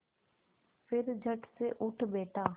फिर झटसे उठ बैठा